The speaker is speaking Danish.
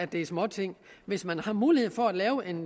det er småting hvis man har mulighed for at lave en